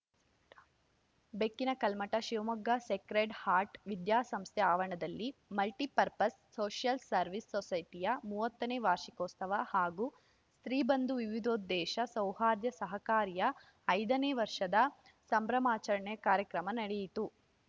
ಬೆಕ್ಕಿನ Kalmath Shivamogga sacred heart ವಿದ್ಯಾಸಂಸ್ಥೆ ಆವರಣದಲ್ಲಿ ಮಲ್ಟಿಪರ್ಪಸ್‌ ಸೋಷಿಯಲ್‌ ಸರ್ವಿಸ್‌ ಸೊಸೈಟಿಯ ಮೂವತ್ತನೇ ವಾರ್ಷಿಕೋತ್ಸವ ಹಾಗೂ ಸ್ತ್ರೀಬಂಧು ವಿವಿಧೋದ್ದೇಶ ಸೌಹಾರ್ದ ಸಹಕಾರಿಯ ಐದನೇ ವರ್ಷದ ಸಂಭ್ರಮಾಚರಣೆ ಕಾರ್ಯಕ್ರಮ ನಡೆಯಿತು